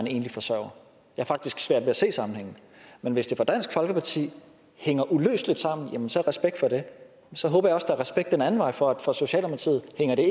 enlig forsørger jeg har faktisk svært ved at se sammenhængen men hvis det for dansk folkeparti hænger uløseligt sammen jamen så respekt for det så håber jeg også respekt den anden vej for at det for socialdemokratiet